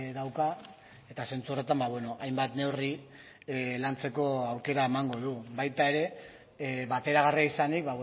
dauka eta zentzu horretan hainbat neurri lantzeko aukera emango du baita ere bateragarria izanik